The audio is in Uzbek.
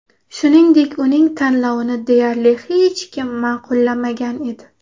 Shuningdek, uning tanlovini deyarli hech kim ma’qullamagan edi.